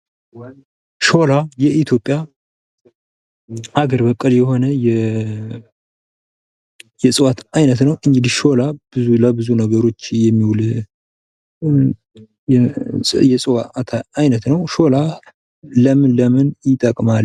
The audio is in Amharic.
ሾላ የኢትዮጵያ ሀገር በቀል የሆነ የእፅዋት አይነት ነው። እንግዲህ ሾላ ለብዙ ነገሮች የሚውል የእፅዋት አይነት ነው። ሾላ ለምን ለምን ይጠቅማል?